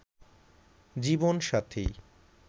জীবন সাথী